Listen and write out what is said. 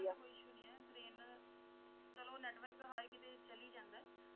ਕੋਈ issue ਨਹੀਂ ਹੈ ਚਲੋ network ਹਰ ਕੀਤੇ ਚਲੇ ਹੀ ਜਾਂਦਾ ਹੈ ।